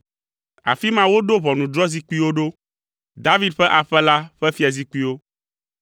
Afi ma woɖo ʋɔnudrɔ̃zikpuiwo ɖo, David ƒe aƒe la ƒe fiazikpuiwo.